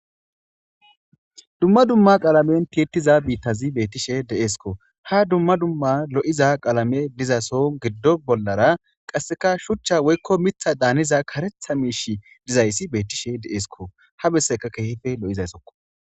Dumma dumma qaalamen titiza biittazi beettishe deeesko ha dumma dumma lo,iza qaalame dizason giddo bollara qasseka shuchcha woykko mitha daaniza karetha miish dizayssi beettishe deeesko ha besseka keehife lo,izayssokko.